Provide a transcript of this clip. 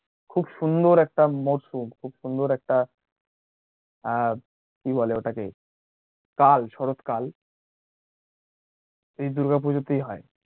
খুব সুন্দর একটা মওসুম খুব সুন্দর একটা আহ কি বলে ওটাকে কাল শরৎকাল এই দূর্গা পূজোতেই হয়